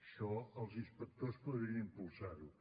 això els inspectors podrien impulsar ho